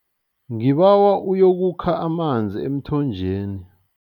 Ngibawa uyokukha amanzi emthonjeni.